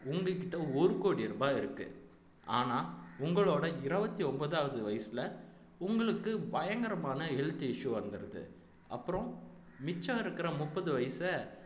உங்க கிட்ட ஒரு கோடி ரூபாய் இருக்கு ஆனா உங்களோட இருபத்தி ஒன்பதாவது வயசுல உங்களுக்கு பயங்கரமான health issue வந்துருது அப்புறம் மிச்சம் இருக்கிற முப்பது வயசை